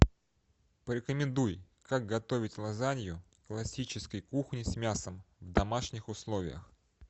порекомендуй как готовить лазанью классической кухни с мясом в домашних условиях